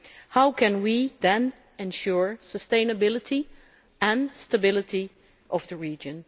How can we then ensure the sustainability and stability of the region?